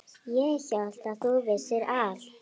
Ég hélt að þú vissir allt.